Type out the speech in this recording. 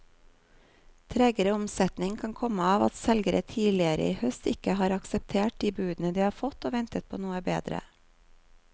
Tregere omsetning kan komme av at selgere tidligere i høst ikke har aksepter de budene de har fått og ventet på noe bedre.